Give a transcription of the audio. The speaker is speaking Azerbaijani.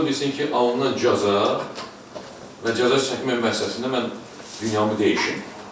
Ola bilsin ki, alınan cəza və cəza çəkmə müəssisəsində mən dünyamı dəyişim.